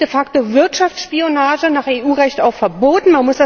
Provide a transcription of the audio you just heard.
Das ist de facto Wirtschaftsspionage, nach EU Recht auch verboten.